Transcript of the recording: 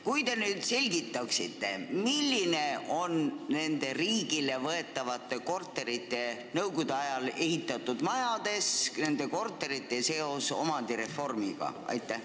Kui te nüüd selgitaksite, milline on nende riigile võetavate nõukogude ajal ehitatud majade korterite seos omandireformiga?